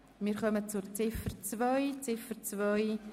Wir kommen zur Ziffer 2.